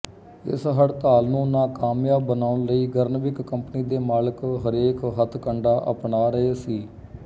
ਇਸ ਹੜਤਾਲ ਨੂੰ ਨਾਕਾਮਯਾਬ ਬਣਾਉਣ ਲਈ ਗਰਨਵਿਕ ਕੰਪਨੀ ਦੇ ਮਾਲਕ ਹਰੇਕ ਹਥਕੰਡਾ ਅਪਣਾ ਰਹੇ ਸੀ